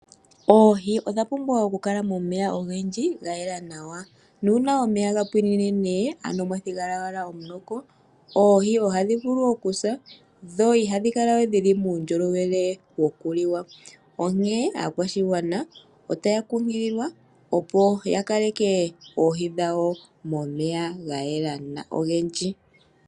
Oohi odha pumbwa oku kala momeya ogendji ga yela nawa. Uuna omeya ga pwine ano mwathigala owala omunoko oohì ohadhi vulu okusa no ihadhi kala we dhina uundjolowele woku liwa. Onkene aakwashigwana otaya kunkililwa ya kaleke oohi dhawo momeya ga yela go ogendji.